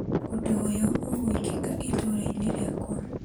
ũndũ ũyũ ũgwĩkĩka itũra-inĩ rĩakwa .